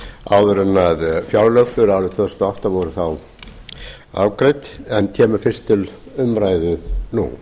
áður en fjárlög fyrir árið tvö þúsund og átta voru afgreidd en kemur fyrst til umræðu nú